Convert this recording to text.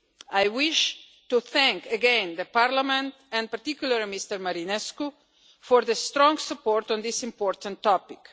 I wish to thank again Parliament, and particularly Mr Marinescu, for the strong support on this important topic.